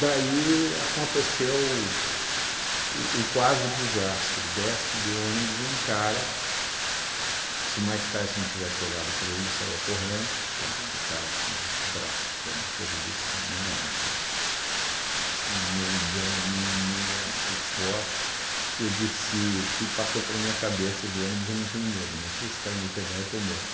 Daí aconteceu o o quase desastre, desce do ônibus um cara, se o Mike Tyson tivesse olhado para ele, saia correndo, tá, porque o cara tinha uns braços que era uma coisa desse tamanho, era um um negão imenso, forte, e eu disse, se passou pela minha cabeça do ônibus, eu não tenho medo, mas se esse cara me pegar, eu estou morto.